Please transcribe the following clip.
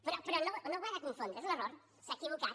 però no ho ha de confondre és un error s’ha equivocat